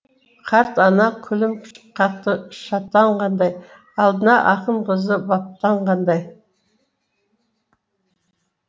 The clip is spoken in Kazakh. карт ана күлім қакты шаттанғандай алдына ақын қызы баптанғаңдай